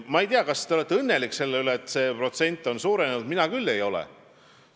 Ma ei tea, kas te olete õnnelik selle üle, et see protsent on suurenenud, mina küll ei ole.